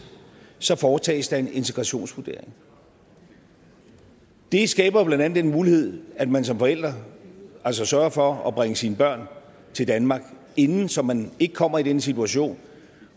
så foretages der en integrationsvurdering det skaber blandt andet den mulighed at man som forældre altså sørger for at bringe sine børn til danmark inden så man ikke kommer i den situation